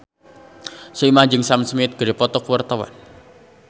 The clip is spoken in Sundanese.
Soimah jeung Sam Smith keur dipoto ku wartawan